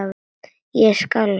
Ég skalf.